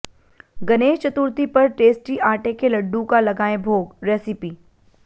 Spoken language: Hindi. गणेश चतुर्थी पर टेस्टी आटे के लड्डू का लगाएं भोगः रेसिपी